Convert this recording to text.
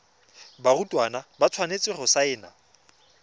barutwana ba tshwanetse go saena